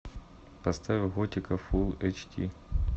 поставь готика фул эйч ди